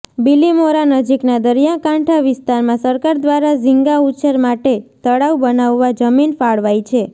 બીલીમોરા નજીકના દરિયા કાંઠા વિસ્તારમાં સરકાર દ્રારા ઝીંગા ઉછેર માટે તળાવ બનાવવા જમીન ફાળવાઈ છે